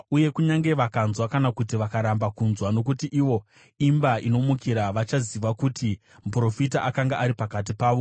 Uye kunyange vakanzwa kana kuti vakaramba kunzwa, nokuti ivo imba inomukira, vachaziva kuti muprofita akanga ari pakati pavo.